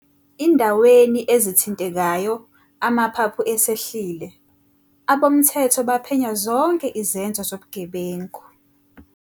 .indaweni ezithintekayo amaphaphu esehlile, abomthetho baphenya zonke izenzo zobugebengu.